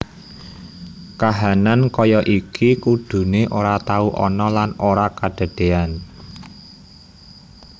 Kahanan kaya iki kudune ora tau ana lan ora kadadeyan